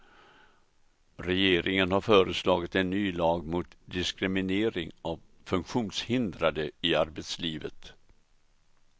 Regeringen har föreslagit en ny lag mot diskriminering av funktionshindrade i arbetslivet.